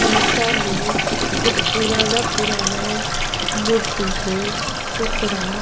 सीसा में कुछ पुराना-पुराना मूर्ति के टुकड़ा --